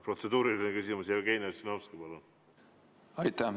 Protseduuriline küsimus, Jevgeni Ossinovski, palun!